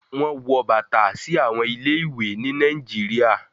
Sandals are worn to schools in Nigeria